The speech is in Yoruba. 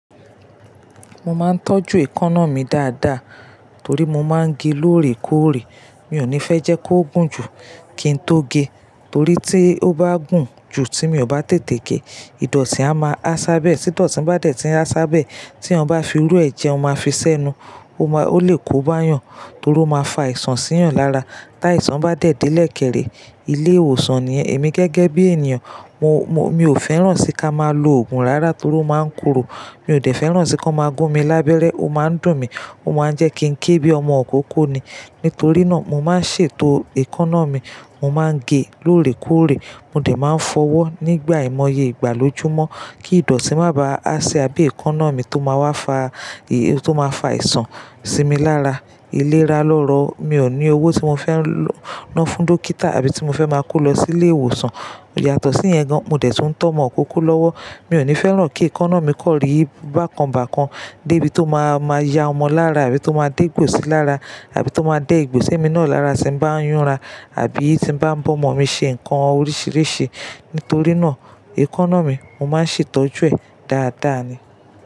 Mo máa ń tọ́jú èékánná mi dáadáa torí mo máa ń ge lóòrèkóòrè. Mi ò ní fẹ́ jẹ́ kí ó gùn jù kí n tó ge torí tí ó bá gùn jù tí mi ò bá tètè ge, ìdọ̀tí á máa há sábẹ ẹ. Tí ìdọ̀tí bá dẹ̀ tí ń há sábẹ ẹ, tí wọ́n bá fi irú ẹ jẹun máa fi sẹ́nu. Ó lè kó bá'yàn torí ó máa fa àìsàn sí'yan lára. Táì àìsàn bá dẹ̀ dẹ́lẹ̀ kèrè, ilé ìwòsàn nìyẹn. Èmi gẹ́gẹ́ bí ènìyàn, mi ò fẹ́ràn sí ká máa lo òògùn rárá torí ó máa ń korò. Mi ò dẹ̀ fẹ́ràn sí kí wọ́n máa gún mi lábẹ́rẹ́. Ó máa ń dùn mí, ó máa ń jẹ́ kí n ké bíi ọmọ ìkókó ni. Nítorí náà, mo máa ń ṣètò èékánná mi. Mo máa ń ge lóòrèkóòrè. Mo dẹ̀ máa ń fọwọ́ nígbà ìmọye ìgbàlójúmọ́ kí ìdọ̀tí má bá hà sí abé èékánná mi tó máa wá fa àìsàn sí mi lára. Iléra lọ́rọ̀, mi ò ní owó tí mo fẹ́ ń ná fún dókítà àbí tí mo fẹ́ máa kó lọ sí ilé ìwòsàn. Yàtọ̀ sí yẹn gan, mo dẹ̀ tún tọ́ ọmọ ìkókó lọ́wọ́. Mi ò ní fẹ́ràn kí èékánná mi kọ́rí bákan bákan dé ibi tó máa ma ya ọmọ lára àbí tó máa dé ìgbòsí lára àbí tó máa dé'gbosi èmi náà lára tí n bá ń yúnra àbí tí n bá ń bọ́ ọmọ mi ṣe nǹkan oríṣìíríṣìí. Nítorí náà, èékánná mi, mo máa ń ṣètọ́jú ẹ̀ dáadáa ni.